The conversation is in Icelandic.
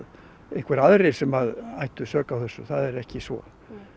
einhverjir sem ættu sök á þessu það er ekki svo